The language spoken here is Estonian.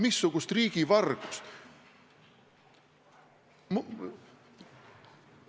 Missugust riigivargust?